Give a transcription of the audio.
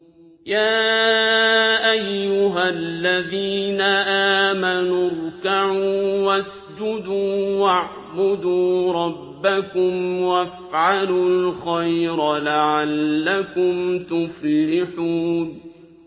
يَا أَيُّهَا الَّذِينَ آمَنُوا ارْكَعُوا وَاسْجُدُوا وَاعْبُدُوا رَبَّكُمْ وَافْعَلُوا الْخَيْرَ لَعَلَّكُمْ تُفْلِحُونَ ۩